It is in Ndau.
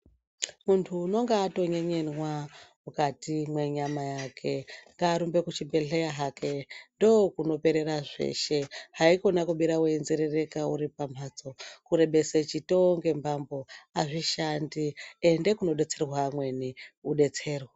Muntu unonga atonyenyenwa, mukati mwenyama yake, ngaarumbe kuchibhedhleya hake, ndokunoperera zveshe, haikona kubira weinzerereka uri pamhatso, kurebese chitoo ngembambo azvishandi. Ende kunodetserwa amweni, kudetserwe.